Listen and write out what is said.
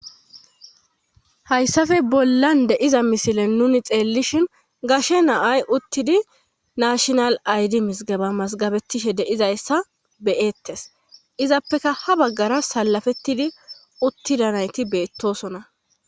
Hayssafe bollan deiza misilen nuni xeellishin gashe naay uttidi nashinal aydi misgaba masgabettishe deizayssa beyettes izappeka ha baggara salafettidi uttida nayti beettosona.